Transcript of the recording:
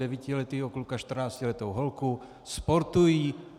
Devítiletého kluka, čtrnáctiletou holku, sportují.